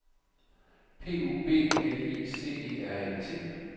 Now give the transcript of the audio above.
P U B L I C E R E T